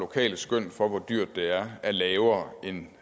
lokale skøn for hvor dyrt det er er lavere end